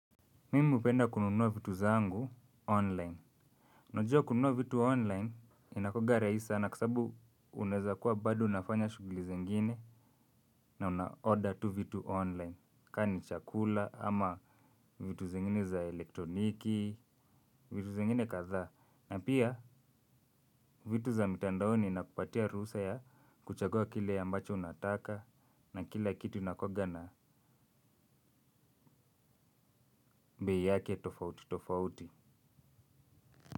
Mimi upenda kununua vitu zangu online. Unajua kununua vitu online inakuaga raisi sana kwa sababu uneza kuwa bado unafanya shuguli zengine na una-order tu vitu online. Ka ni chakula ama vitu zengine za elektroniki, vitu zengine katha. Na pia vitu za mitandaoni inakupatia ruhusa ya kuchagua kile ambacho nataka na kila kitu unakuaga na bei yake tofauti tofauti.